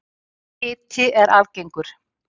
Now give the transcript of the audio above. Hiti er algengur.